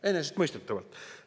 Enesestmõistetavalt!